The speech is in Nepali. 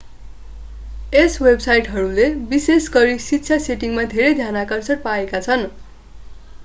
यी वेबसाइटहरूले विशेषगरी शिक्षा सेटिङमा धेरै ध्यानाकर्षण पाएका छन्